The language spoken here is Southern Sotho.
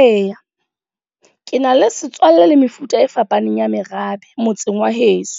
Eya, ke na le setswalle le mefuta e fapaneng ya merabe, motseng wa heso.